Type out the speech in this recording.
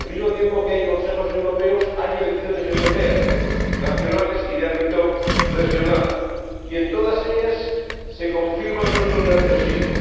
Al mismo tiempo que hay Consejos Europeos hay elecciones europeas, nacionales y de ámbito regional, y en todas ellas se confirma nuestro nerviosismo.